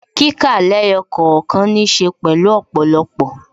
Kíkà lẹ́yọ̀ kọ̀ọ̀kan ní ṣe pẹ̀lú ọ̀pọ̀lọpọ̀